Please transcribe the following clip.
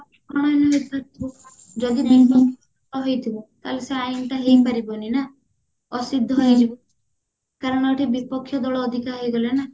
ଯଦି ହେଇଥିବ ତାହେଲେ ଶି ଆଇନ ଟା ହେଇପାରିବନି ନା ଅସିଦ୍ଧ ହେଇଯିବ କାରଣ ଏଠି ବିପକ୍ଷ ଦଳ ଅଧିକା ହେଇ ଗଲା ନା